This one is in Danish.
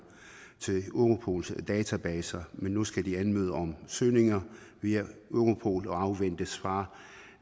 til europols databaser men nu skal de anmode om søgninger via europol og afvente svar